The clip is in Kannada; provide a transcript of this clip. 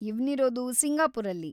ಇವ್ನಿರೋದು ಸಿಂಗಾಪುರಲ್ಲಿ.